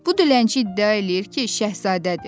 Bu dilənçi iddia eləyir ki, şahzadədir.